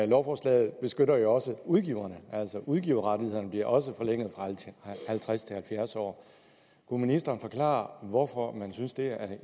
lovforslaget beskytter også udgiverne altså udgiverrettighederne bliver jo også forlænget fra halvtreds til halvfjerds år kunne ministeren forklare hvorfor man synes det